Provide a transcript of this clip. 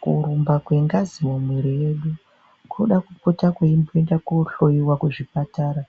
Kurumba kwe ngazi mu mwiri yedu koda kupota kwei enda ko hloyiwa ku zvipatara